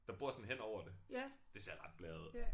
Der bor sådan henover det. Det ser ret blæret ud